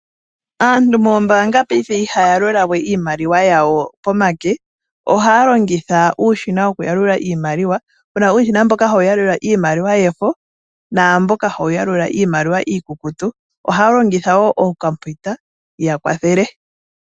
Aantu moombaanga paife ihaya yalula we iimaliwa yawo komake ohaa longitha uushina mboka woku yalula iimaliwa puna uushina mboka hawu yalula iimaliwa yomafo naamboka hawu yalula iimaliwa iikukutu ohaa longitha wo ookompiuta ya kwathele .